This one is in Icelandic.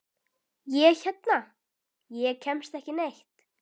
Ég hérna. ég kemst ekki neitt.